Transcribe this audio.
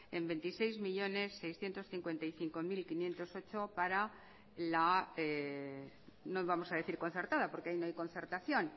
en veintiséis millónes seiscientos cincuenta y cinco mil quinientos ocho euros para no vamos a decir concertada porque ahí no hay concertación